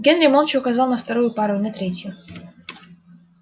генри молча указал на вторую пару и на третью